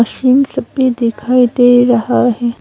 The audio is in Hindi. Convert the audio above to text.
मशीन सब भी दिखाई दे रहा है।